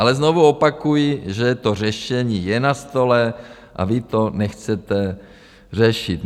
Ale znovu opakuji, že to řešení je na stole a vy to nechcete řešit.